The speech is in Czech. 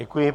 Děkuji.